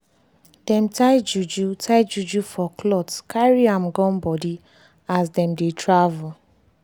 dem tie juju tie juju for clothcarry am gum body as dem dey travel.